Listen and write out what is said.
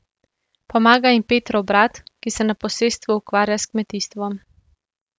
Pomaga jim Petrov brat, ki se na posestvu ukvarja s kmetijstvom.